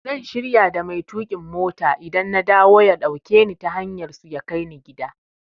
Zan shirya da mai tuƙin mota idan na dawo ya dauke ni ta hanyar su ya kai ni gida.